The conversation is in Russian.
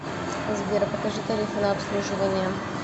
сбер покажи тарифы на обслуживание